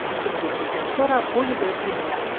Həkim getdikdən sonra Oliver yenə yatdı.